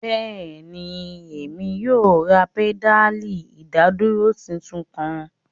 Bẹẹni, Emi yoo ra pedali idaduro titun kan